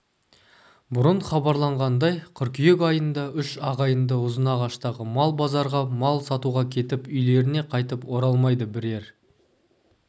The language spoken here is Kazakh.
бұрын хабарланғандай қыркүйек айында үш ағайынды ұзынағаштағы мал базарға мал сатуға кетіп үйлеріне қайтып оралмайды бірер